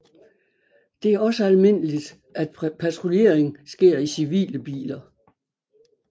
Det er også almindeligt at patruljering sker i civile biler